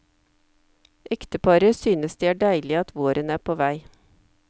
Ekteparet synes det er deilig at våren er på vei.